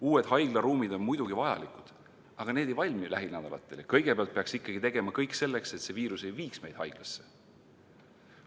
Uued haiglaruumid on muidugi vajalikud, aga need ei valmi lähinädalatel ja kõigepealt peaks ikkagi tegema kõik selleks, et see viirus ei viiks meid haiglasse.